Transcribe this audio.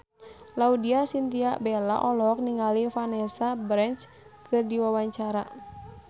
Laudya Chintya Bella olohok ningali Vanessa Branch keur diwawancara